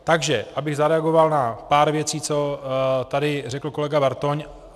Takže abych zareagoval na pár věcí, co tady řekl kolega Bartoň.